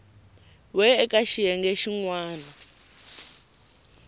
we eka xiyenge xin wana